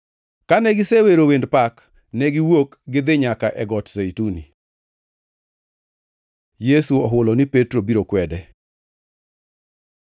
Kane gisewero wend pak, ne giwuok gidhi nyaka e Got Zeituni. Yesu ohulo ni Petro biro kwede